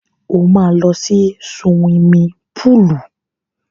Ó máa lọ sí suwimi púùlù.